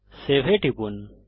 save এ টিপুন